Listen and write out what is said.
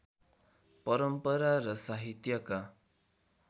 परम्परा र साहित्यका